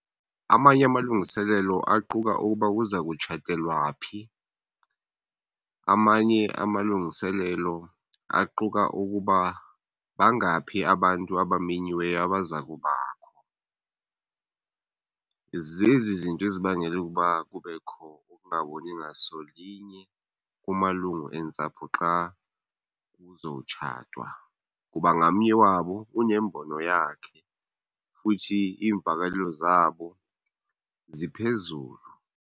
Amanye amalungiselelo aquka ukuba kuzakutshatelwa phi. Amanye amalungiselelo aquka ukuba bangaphi abantu abamenyiweyo abaza kubakho. Zezi zinto ezibangela ukuba kubekho ukungaboni ngasolinye kumalungu entsapho xa kuzowutshatwa kuba ngamnye wabo unembono yakhe futhi iimvakalelo zabo ziphezulu.